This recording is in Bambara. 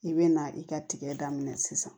I bɛ na i ka tigɛ daminɛ sisan